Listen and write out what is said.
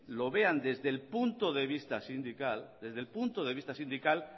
lo vean desde el punto de vista sindical